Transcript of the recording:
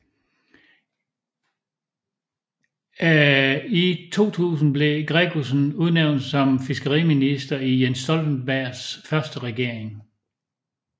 I 2000 blev Gregussen udnævnt som fiskeriminister i Jens Stoltenbergs første regering